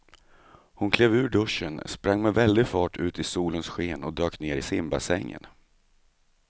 Hon klev ur duschen, sprang med väldig fart ut i solens sken och dök ner i simbassängen.